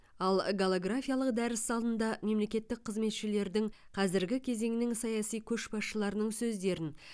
ал голографиялық дәріс залында мемлекеттік қызметшілердің қазіргі кезеңнің саяси көшбасшыларының сөздерін